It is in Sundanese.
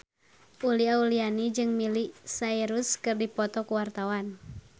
Uli Auliani jeung Miley Cyrus keur dipoto ku wartawan